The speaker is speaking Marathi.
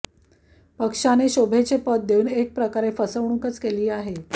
पक्षाने शोभेचे पद देऊन एक प्रकारे फसवणूकच केली आहे